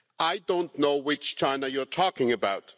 I do not know which China you are talking about.